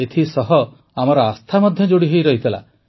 ଏଥିସହ ଏହା ସହିତ ଆମର ଆସ୍ଥା ମଧ୍ୟ ଯୋଡ଼ିହୋଇ ରହିଥିଲା